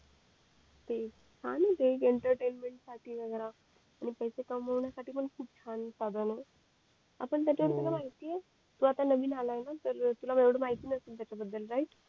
तेच छान आहे ते एंटरटेनमेंट साठी वैगरा आणि पैसे कामविण्या साठी पण खूप छान साधन आहे आपण त्याच्या वर तुला माहिती ये तू आता नवीन आलाय ना तर तुला माहिती नसेल त्याच्या बद्दल राईट